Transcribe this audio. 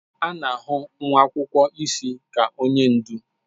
A na-ahụ nwa akwụkwọ isi ka onye ndu.